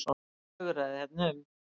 Flögraði hérna um.